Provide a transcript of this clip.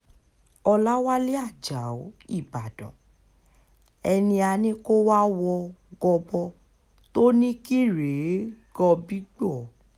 ọ̀làwálẹ̀ ajáò ìbàdàn ẹni á ní kó wáá wọ gọbọ tó ní kí rèé gọ̀gbìgbò